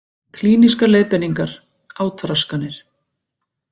Klínískar leiðbeiningar, átraskanir.